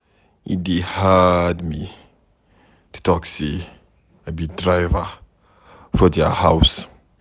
E dey hard me to talk sey I be driver for their house.